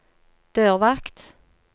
dørvakt